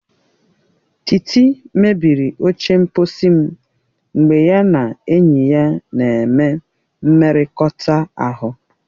Titi mebiri oche mkposi m mgbe ya na enyi ya na-eme mmekọrịta ahụ.